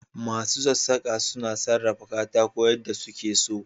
Masu sassaka suna sarrafa katako yadda suke so.